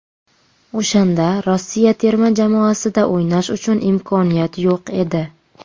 O‘shanda Rossiya terma jamoasida o‘ynash uchun imkoniyat yo‘q edi.